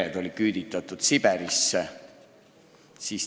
Paljud pered küüditati Siberisse.